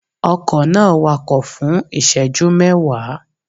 Ọkọ̀ náà wakọ̀ fún ìṣẹ́jú mẹ́wàá